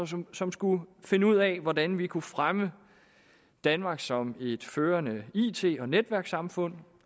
som som skulle finde ud af hvordan vi kunne fremme danmark som et førende it og netværkssamfund